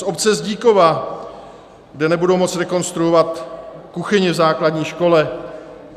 Z obce Zdíkova, kde nebudou moci rekonstruovat kuchyni v základní škole.